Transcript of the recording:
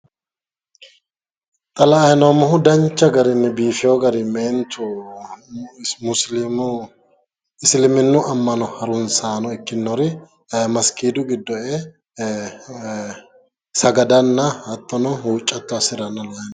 Xa la"ayi noommohu danchu garinni biifiwo garinni meentu musiliimu isiliminnu amma'no haruunsaano ikkinori masgiidu giddo e"e sagadanna hattono huuccatto assiranna leellishshanno.